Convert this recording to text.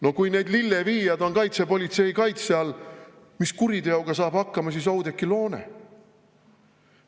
No kui need lilleviijad on kaitsepolitsei kaitse all, mis kuriteoga saab hakkama siis Oudekki Loone?